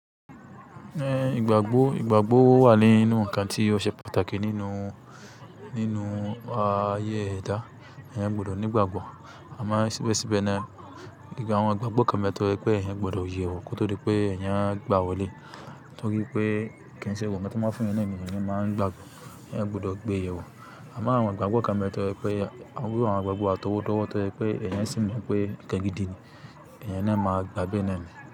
Eh, ìgbàgbọ́, ìgbàgbọ́ wà nínú ǹkan tí ó ṣe pàtàkì nínú, nínú ah ayé ẹ̀dá. Ẹ̀hn, mo de ní ìgbàgbọ́. Àmá síbẹsíbẹ náà, ìgbà àwọn ìgbàgbọ́ kan bẹ́ to jẹ wipé ẹ̀yan gbọdọ̀ yè wọ̀, kótódi pé ẹ̀yan á gbà wọlé. To ri pé kí ń ṣe gbọ̀gbo nkan ti won máa fún yan naní ẹ̀níyan máa ń gbàgbọ́. Ẹ̀yan gbudọ̀ gbé yèwọ̀. Àmo àwọn ìgbàgbọ́ kan bẹ́ to jẹ wi pé àwọn, iru àwọn ìgbàgbọ́ àtọwọ́dọ̀wọ́ tọ́ pé ẹ̀yan sì mọ̀ pé ǹkan gìdì ni, ẹ̀yan náà máa gbàgbé ẹ̀ náà mì.